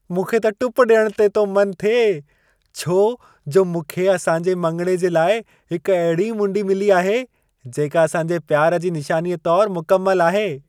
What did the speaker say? मूंखे त टुप ॾियण ते तो मन थिए, छो जो मूंखे असांजे मङिणे जे लाइ हिक अहिड़ी मुंडी मिली आहे जेका असां जे प्यार जी निशानीअ तोर मुकमल आहे।